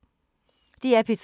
DR P3